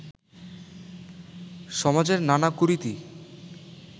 সমাজের নানা কুরীতি